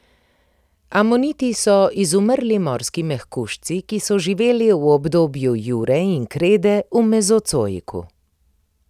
Amoniti so izumrli morski mehkužci, ki so živeli v obdobju jure in krede v mezozoiku.